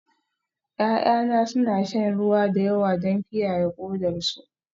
Ya'yana suna shan ruwa da yawa don kiyaye kodarsu